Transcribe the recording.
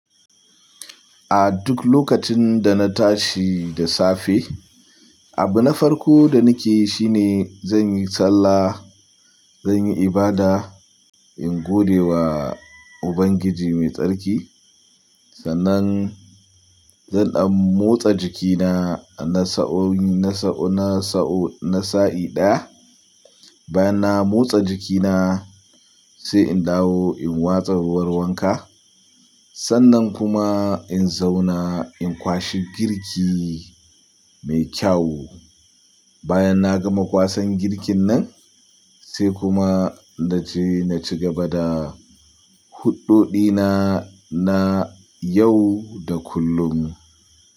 A duk lokacin da na tashi da safe, abu na farko da nake yi shine zan yi sallah, zan yi ibada, in gode wa Ubangiji mai tsarki. Sannan zan dan motsa jikina na sa'o'i, na sa'o, na sa'o, na sa'i daya. Bayan na motsa jikina sai in dawo in watsa ruwan wanka. Sannan kuma in zauna in kwashe girki mai kyau. Bayan na gama kwasan girkin nan sai kuma na je na ci gaba da huɗɗo ɗina na yau da kullum.